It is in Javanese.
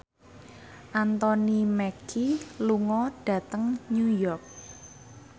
Anthony Mackie lunga dhateng New York